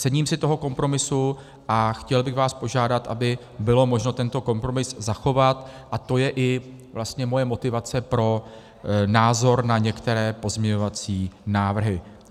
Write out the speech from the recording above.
Cením si toho kompromisu a chtěl bych vás požádat, aby bylo možno tento kompromis zachovat, a to je i vlastně moje motivace pro názor na některé pozměňovací návrhy.